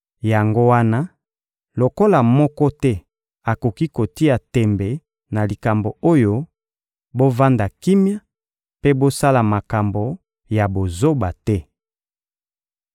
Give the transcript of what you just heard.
Yango wana, lokola moko te akoki kotia tembe na likambo oyo, bovanda kimia mpe bosala makambo ya bozoba te.